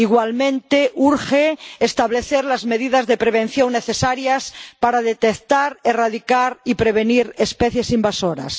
Igualmente, urge establecer las medidas de prevención necesarias para detectar, erradicar y prevenir especies invasoras.